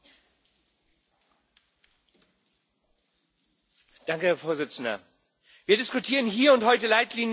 Herr Präsident! Wir diskutieren hier und heute Leitlinien für die zukünftigen Beziehungen zwischen der EU und dem Vereinigten Königreich.